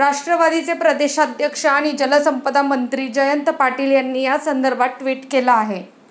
राष्ट्रवादीचे प्रदेशाध्यक्ष आणि जलसंपदामंत्री जयंत पाटील यांनी यासंदर्भात ट्वीट केलं आहे.